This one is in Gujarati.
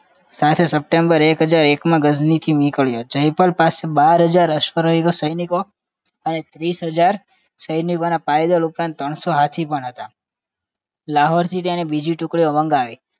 સાથે સપ્ટેમ્બર એક હજાર એક ગજની થી નીકળ્યો જયપાલ પાસે બાર હજાર અશ્વરઓ સૈનિકોને અને તીસ હજાર સૈનિકોના પાઇદલ ઉપરાંત ત્રણ સો હાથી પણ હતા લાહોર થી તેને બીજી ટુક્ડી માંગવી